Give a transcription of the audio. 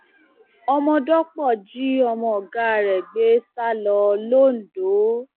omọdọpọ jí ọmọ ọgá rẹ gbé sá lọ londo